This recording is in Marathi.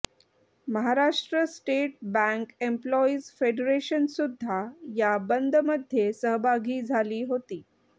महाराष्ट्र स्टेट बॅंक एम्प्लॉईज फेडरेशनसुद्धा या बंदमध्ये सहभागी झाली होती